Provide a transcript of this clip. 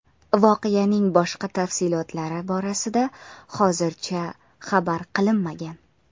Voqeaning boshqa tafsilotlari borasida hozircha xabar qilinmagan.